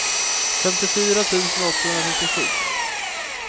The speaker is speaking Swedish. femtiofyra tusen åttahundratrettiosju